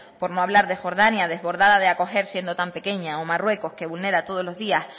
por lo hablar de jordania desbordada de acoger siendo tan pequeña o marruecos que vulnera todos los días